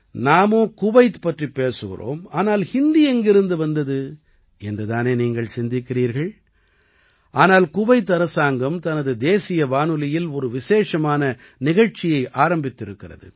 நாமோ குவைத் பற்றிப் பேசுகிறோம் ஆனால் ஹிந்தி எங்கிருந்து வந்தது என்று தானே நீங்கள் சிந்திக்கிறீர்கள் ஆனால் குவைத் அரசாங்கம் தனது தேசிய வானொலியில் ஒரு விசேஷமான நிகழ்ச்சியை ஆரம்பித்திருக்கிறது